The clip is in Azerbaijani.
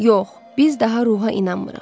Yox, biz daha ruha inanmırıq.